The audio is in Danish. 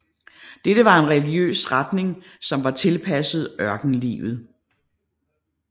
Dette var en religiøs retning som var tilpasset ørkenlivet